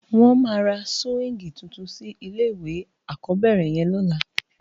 Wòn má rá siwingi túntún si ilé iwé ákòbèrè yèn lòlá